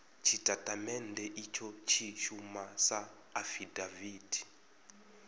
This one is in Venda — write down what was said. tshitatamennde itsho tshi shuma sa afidaviti